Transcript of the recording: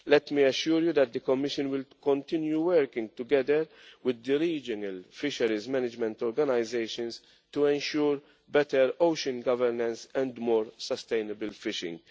Let me assure you that the Commission will continue working together with the regional fisheries management organisations to ensure better ocean governance and more sustainable fishing.